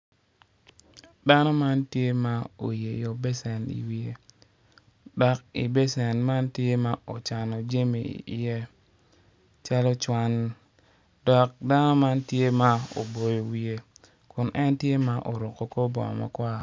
Dano man tye ma oyeyo becen iwiye dok i becen man tye ma ocano jami iye calo cwan dok dano man tye ma oboyo wiye kun en tye ma oruko kor bongo makwar.